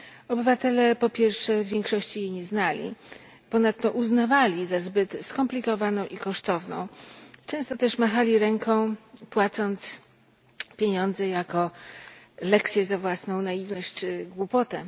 Obywatele, po pierwsze, w większości jej nie znali, ponadto uznawali za zbyt skomplikowaną i kosztowną, często też machali ręką, płacąc pieniądze jako lekcję za własną naiwność czy głupotę.